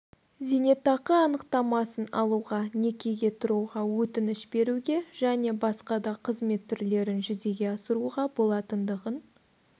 зейнетақы анықтамасын алуға некеге тұруға өтініш беруге және басқа да қызмет түрлерін жүзеге асыруға болатындығын